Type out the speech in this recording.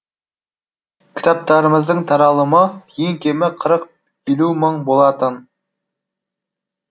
кітаптарымыздың таралымы ең кемі қырық елу мың болатын